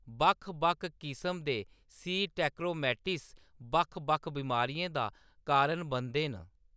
बक्ख-बक्ख किसम दे सी. ट्रैकोमैटिस बक्ख-बक्ख बमारियें दा कारण बनदे न।